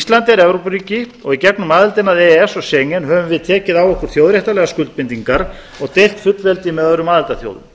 ísland er evrópuríki og í gegnum aðildina að e e s og schengen höfum við tekið á okkur þjóðréttarlegar skuldbindingar og deilt fullveldi með öðrum aðildarþjóðum